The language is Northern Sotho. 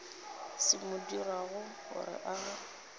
se mo dirago gore a